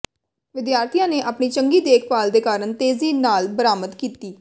ਵਿਦਿਆਰਥੀਆਂ ਨੇ ਆਪਣੀ ਚੰਗੀ ਦੇਖਭਾਲ ਦੇ ਕਾਰਨ ਤੇਜ਼ੀ ਨਾਲ ਬਰਾਮਦ ਕੀਤੀ